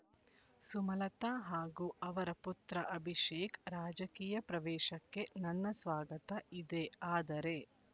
ಸುಮಲತಾ ಹಾಗೂ ಅವರ ಪುತ್ರ ಅಭಿಶೇಕ್ ರಾಜಕೀಯ ಪ್ರವೇಶಕ್ಕೆ ನನ್ನ ಸ್ವಾಗತ ಇದೆಆದರೆ